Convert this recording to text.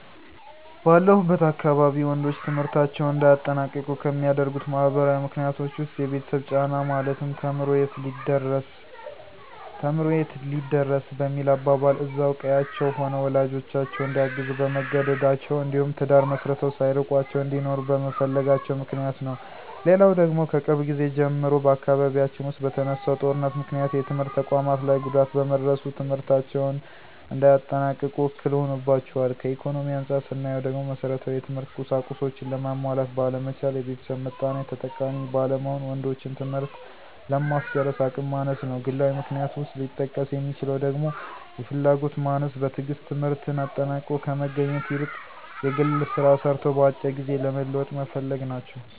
ባለሁበት አካባቢ ወንዶች ትምህርታቸውን እንዳያጠናቅቁ ከሚያደርጉት ማህበራዊ ምክንያቶች ዉስጥ፦ የቤተሰብ ጫና ማለትም ተምሮ የት ሊደርስ በሚል አባባል እዛው ቀዬአቸው ሆነው ወላጆቻቸውን እንዲያግዙ በመገደዳቸው እንዲሁም ትዳር መስርተው ሳይርቋቸው እንዲኖሩ በመፈለጋቸው ምክንያት ነው። ሌላው ደግሞ ከቅርብ ጊዜ ጀምሮ በአካባቢያችን ዉስጥ በተነሳው ጦርነት ምክንያት የትምህርት ተቋማት ላይ ጉዳት በመድረሱ ትምህርታቸውን እንዳያጠናቅቁ እክል ሆኖባቸዋል። ከኢኮኖሚ አንፃር ስናየው ደግሞ መሠረታዊ የትምህርት ቁሳቁሶችን ለማሟላት ባለመቻል፣ የቤተሰብ ምጣኔ ተጠቃሚ ባለመሆን ወንዶችን ትምህርት ለማስጨረስ አቅም ማነስ ነው። ግላዊ ምክንያት ውስጥ ሊጠቀስ የሚችለው ደግሞ የፍላጎት ማነስ፣ በትግስት ትምህርትን አጠናቆ ከመገኘት ይልቅ የግል ስራ ሰርቶ በአጭር ጊዜ ለመለወጥ መፈለግ ናቸው።